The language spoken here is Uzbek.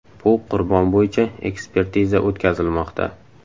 Bu qurbon bo‘yicha ekspertiza o‘tkazilmoqda.